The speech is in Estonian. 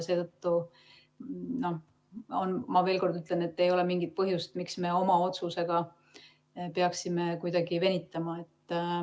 Seetõttu ma veel kord ütlen, et ei ole mingit põhjust, miks me oma otsusega peaksime kuidagi venitama.